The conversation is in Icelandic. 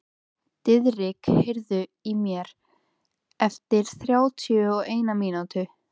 Diðrik, heyrðu í mér eftir þrjátíu og eina mínútur.